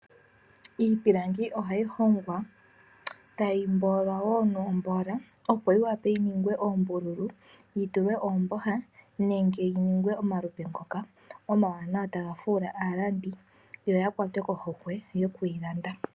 Iipilangi ohayi hongwa tayi mboolwa woo nomboola opo yi wape yi ningwe oombululu, yitulwe oomboha nenge yi ningwe omalupe ngoka omawanawa taga fuula aalandi yo yakwatwe kohokwe yo kwiilanda.